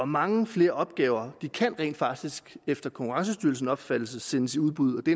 mange flere opgaver kan rent faktisk efter konkurrencestyrelsens opfattelse sendes i udbud det